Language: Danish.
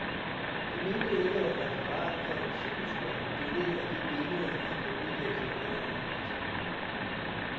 De mente ikke, at referatet gav et fyldestgørende billede af de meninger, der blev udvekslet under mødet.